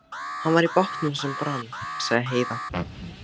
Hann var í bátnum sem brann, sagði Heiða.